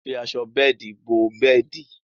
À fí àṣọ bẹẹ̀dí bọ̀ bẹẹ̀dí.